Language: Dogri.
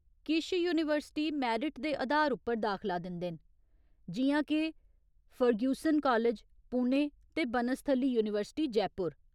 किश यूनीवर्सिटी मैरिट दे अधार उप्पर दाखला दिंदे न, जि'यां के फर्ग्यूसन कालेज, पुणे ते बनस्थली यूनीवर्सिटी, जयपुर।